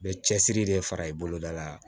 Bɛ cɛsiri de fara i boloda la